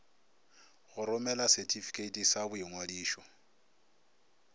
go romela setifikeiti sa boingwadišo